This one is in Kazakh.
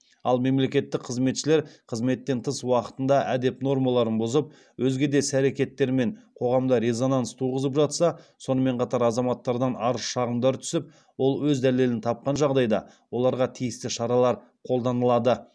ал мемлекеттік қызметшілер қызметтен тыс уақытында әдеп нормаларын бұзып өзге де іс әрекеттерімен қоғамда резонанс туғызып жатса сонымен қатар азаматтардан арыз шағымдар түсіп ол өз дәлелін тапқан жағдайда оларға тиісті шаралар қолданылады